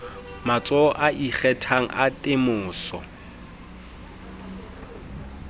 matsholo a ikgethang a temoso